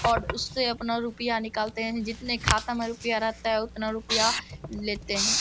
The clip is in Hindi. और उससे अपना रुपया निकालते है जितने खाता में रुपया रहता है उतना रुपया लेते है।